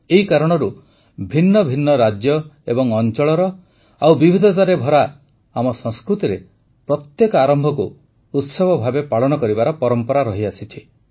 ଏହି କାରଣରୁ ଭିନ୍ନ ଭିନ୍ନ ରାଜ୍ୟ ଏବଂ ଅଂଚଳର ଏବଂ ବିବିଧତାରେ ଭରା ଆମ ସଂସ୍କୃତିରେ ପ୍ରତ୍ୟେକ ଆରମ୍ଭକୁ ଉତ୍ସବ ଭାବେ ପାଳନ କରିବାର ପରମ୍ପରା ରହିଛି